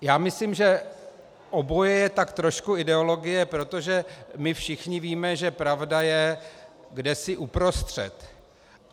Já myslím, že oboje je tak trošku ideologie, protože my všichni víme, že pravda je kdesi uprostřed.